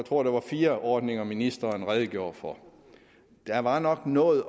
tror det var fire ordninger ministeren redegjorde for der var nok noget